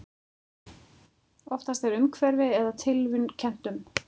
Oftast er umhverfi eða tilviljun kennt um.